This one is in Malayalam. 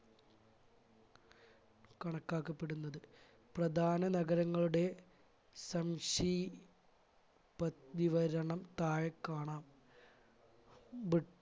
കണക്കാക്കപ്പെടുന്നത് പ്രധാന നഗരങ്ങളുടെ സംക്ഷി പ്ത വിവരണം താഴെ കാണാം